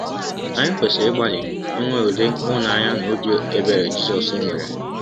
Anyị kwesịrị ịgbalị inwe ụdị ịhụnanya na ọbi ebere Jizọs nwere.